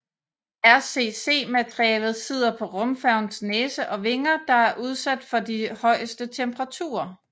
RCC materialet sidder på rumfærgens næse og vinger der er udsat for de højeste temperaturer